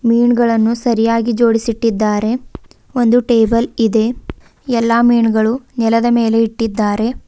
ಮೀನ್ಗಳನ್ನು ಸರಿಯಾಗಿ ಜೋಡಿಸಿಟ್ಟಿದ್ದಾರೆ ಒಂದು ಟೇಬಲ್ ಇದೆ ಎಲ್ಲಾ ಮೀನುಗಳು ನೆಲದ ಮೇಲೆ ಇಟ್ಟಿದ್ದಾರೆ.